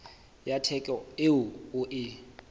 ya theko eo o e